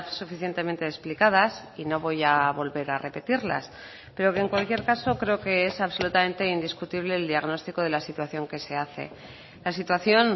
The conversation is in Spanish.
suficientemente explicadas y no voy a volver a repetirlas pero que en cualquier caso creo que es absolutamente indiscutible el diagnóstico de la situación que se hace la situación